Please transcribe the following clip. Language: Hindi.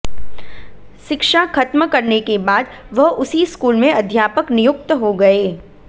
शिक्षा ख़त्म करने के बाद वह उसी स्कूल में अध्यापक नियुक्त हो गए